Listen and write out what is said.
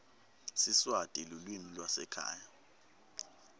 siswati lulwimi lwasekhaya